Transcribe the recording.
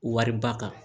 Wariba kan